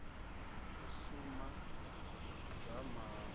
u suma u dzama ha